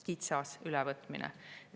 Kitsas ülevõtmine!